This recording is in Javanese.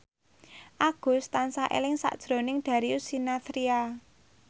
Agus tansah eling sakjroning Darius Sinathrya